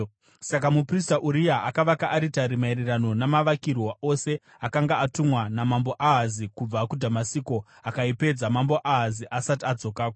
Saka muprista Uria akavaka aritari maererano namavakirwo ose akanga atumwa naMambo Ahazi kubva kuDhamasiko, akaipedza Mambo Ahazi asati adzokako.